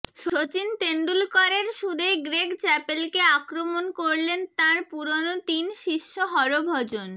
সচিন তেন্ডুলকরের সুরেই গ্রেগ চ্যাপলকে আক্রমণ করলেন তাঁর পুরনো তিন শিষ্য হরভজন